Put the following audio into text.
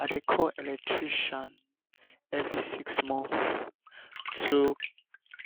i dey call electrician every six months to